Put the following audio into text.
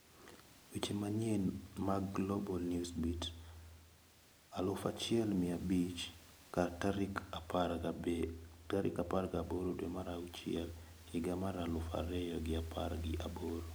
Weche manyien mag Global Newsbeat aluf achiel mia abich kar tarik apar gi aboro dwe mar achiel higa mar aluf ariyo gi apar gi aboro.